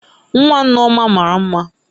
Nwa Nneoma mara mma